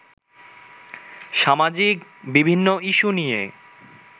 সামাজিক বিভিন্ন ইস্যু নিয়ে